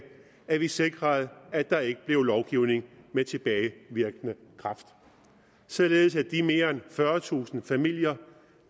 at vi sikrede at der ikke blev lovgivning med tilbagevirkende kraft således at de mere end fyrretusind familier